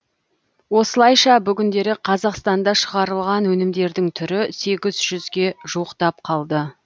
осылайша бүгіндері қазақстанда шығарылған өнімдердің түрі сегіз жүзге жуықтап қалды